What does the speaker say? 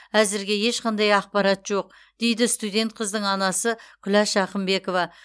әзірге ешқандай ақпарат жоқ дейді студент қыздың анасы күләш ақымбекова